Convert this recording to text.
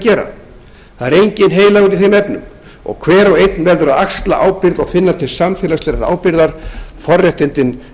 gera það er enginn heilagur í þeim efnum hver og einn verður að axla ábyrgð og finna til samfélagslegrar ábyrgðar forréttindin